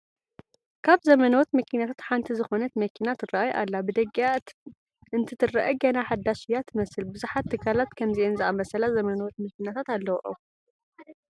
ካብ ዘመነዎት መኪናታት ሓንቲ ዝኾነት መኪና ትርአይ ኣላ፡፡ ብደጊኣ እንትትርአ ገና ሓዳሽ እያ ትመስል፡፡ ብዙሓት ትካላት ከምዚአን ዝኣምሰላ ዘመነዎት መኪናታት ኣለዉኦም፡፡